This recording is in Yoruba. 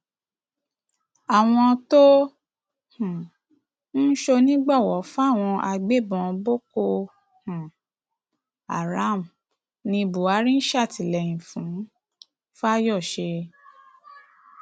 àwọn tó um ń ṣonígbọwọ fáwọn agbébọn boko um haram ní buhari ń ṣàtìlẹyìn fún fáyọsé